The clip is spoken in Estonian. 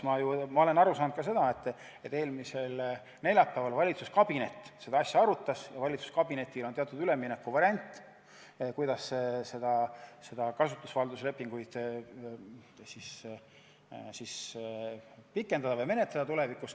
Ma olen aru saanud, et eelmisel neljapäeval valitsuskabinet seda asja ka arutas ja et valitsuskabinetil on teatud üleminekuvariant, kuidas kasutusvalduse lepinguid tulevikus pikendada või menetleda.